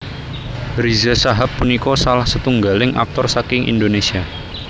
Riza Shahab punika salah setunggaling aktor saking Indonésia